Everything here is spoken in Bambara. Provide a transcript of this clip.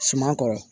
Suman kɔrɔ